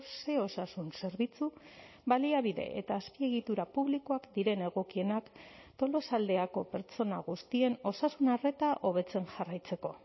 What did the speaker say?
ze osasun zerbitzu baliabide eta azpiegitura publikoak diren egokienak tolosaldeako pertsona guztien osasuna arreta hobetzen jarraitzeko